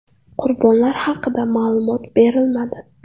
Qurbonlar haqida ma’lumot berilmadi.